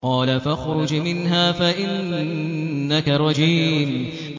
قَالَ فَاخْرُجْ مِنْهَا فَإِنَّكَ رَجِيمٌ